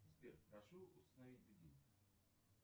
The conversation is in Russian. сбер прошу установить будильник